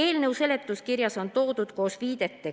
Eelnõu seletuskirjas on toodud koos viidete